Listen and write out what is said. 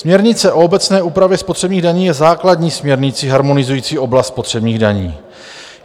Směrnice o obecné úpravě spotřebních daní je základní směrnicí harmonizující oblast spotřebních daní.